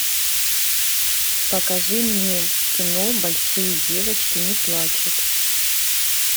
покажи мне кино большие девочки не плачут